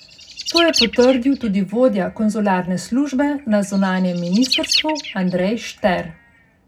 To je potrdil tudi vodja konzularne službe na zunanjem ministrstvu Andrej Šter.